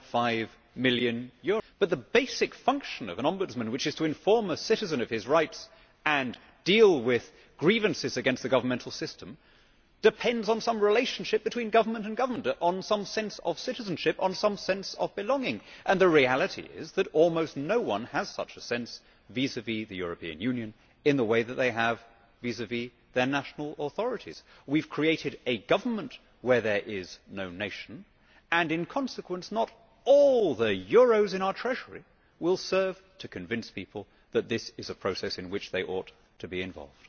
9.5 million, but the basic function of an Ombudsman, which is to inform a citizen of his rights and deal with grievances against the governmental system, depends on some relationship between government and government, on some sense of citizenship, on some sense of belonging, and the reality is that almost no one has such a sense vis vis the European Union in the way that they have vis vis their national authorities. We have created a government where there is no nation and in consequence not all the euros in our treasury will serve to convince people that this is a process in which they ought to be involved.